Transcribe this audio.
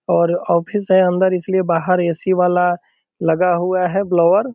और ऑफिस है अंदर इस लिए बाहर ए.सी. वाला लगा हुआ है ब्लोवर ।